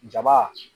Jaba